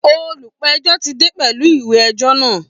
Olùpẹ̀jọ́ ti dé pẹ̀lú ìwé ẹjọ́ náà